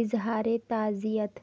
اظہار تعزیت